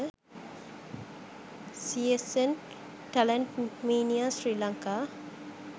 csn talent mania sri lanka